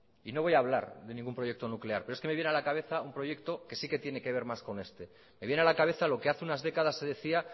y no voy a hablar de ningún proyecto nuclear pero es que me viene a la cabeza un proyecto que sí que tiene que ver más con este me viene a la cabeza lo que hace unas décadas se decía